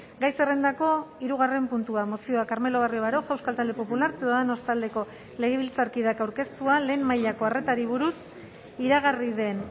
gai zerrendako hirugarren puntua mozioa carmelo barrio baroja euskal talde popular ciudadanos taldeko legebiltzarkideak aurkeztua lehen mailako arretari buruz iragarri den